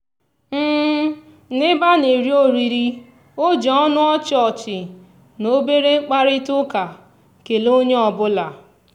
n'ebe a na-eri oriri o ji ọnụ ọchị ọchị na obere mkparịtaụka kelee onye ọbụla.